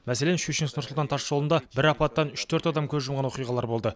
мәселен щучинск нұр сұлтан тасжолында бір апаттан үш төрт адам көз жұмған оқиғалар болды